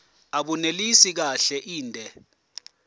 abunelisi kahle inde